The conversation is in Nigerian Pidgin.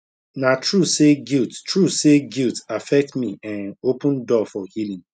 na true say guilt true say guilt affect me en open door for healing